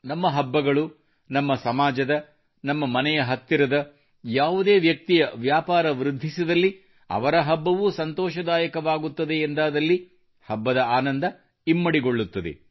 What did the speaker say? ನಮ್ಮ ಹಬ್ಬಗಳು ನಮ್ಮ ಸಮಾಜದ ನಮ್ಮ ಮನೆಯ ಹತ್ತಿರದ ಯಾವುದೇ ವ್ಯಕ್ತಿಯ ವ್ಯಾಪಾರ ವೃದ್ಧಿಸಿದಲ್ಲಿ ಅವರ ಹಬ್ಬವೂ ಸಂತೋಷದಾಯಕವಾಗುತ್ತದೆ ಎಂದಾದಲ್ಲಿ ಹಬ್ಬದ ಆನಂದ ಇಮ್ಮಡಿಗೊಳ್ಳುತ್ತದೆ